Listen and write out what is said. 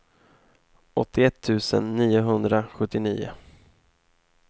åttioett tusen niohundrasjuttionio